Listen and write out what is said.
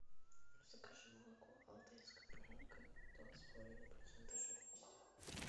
закажи молоко алтайская буренка два с половиной процента жирности